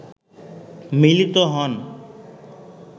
মিলিত হন